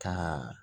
Ka